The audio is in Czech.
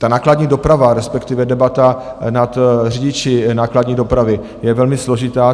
Ta nákladní doprava, respektive debata nad řidiči nákladní dopravy je velmi složitá.